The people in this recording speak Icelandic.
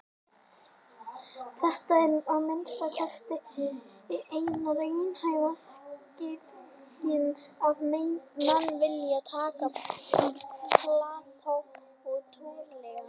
Þetta er að minnsta kosti eina raunhæfa skýringin ef menn vilja taka Plató trúanlegan.